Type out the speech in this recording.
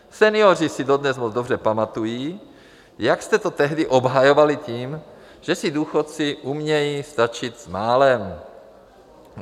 Senioři si dodnes moc dobře pamatují, jak jste to tehdy obhajovali tím, že si důchodci umějí vystačit s málem.